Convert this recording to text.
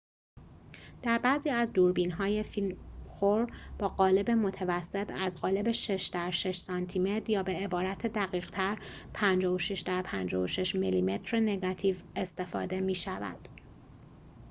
در بعضی از دوربین‌های فیلم‌خور با قالب متوسط از قالب ۶ در ۶ سانتی‌متر یا به‌عبارت دقیق‌تر ۵۶ در ۵۶ میلی‌متر نگاتیو استفاده می‌شود